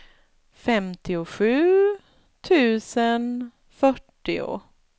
femtiosju tusen fyrtio